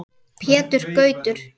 Pétur Gautur.